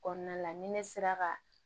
Kɔnɔna la ni ne sera ka